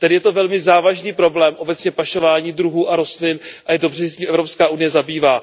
Tedy je to velmi závažný problém, obecně pašování druhů a rostlin, a je dobře, že se tím Evropská unie zabývá.